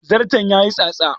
Zarton ya yi tsatsa